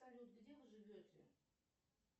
салют где вы живете